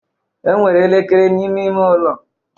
Enwere elekere n'ime ime ụlọ